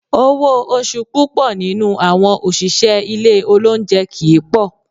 Owó oṣù púpọ̀ nínú àwọn òṣìṣẹ́ ilé olóunjẹ kì í pọ̀